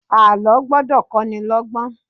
Àlọ́ gbọ́dọ̀ kó ní lọ́gbọ́n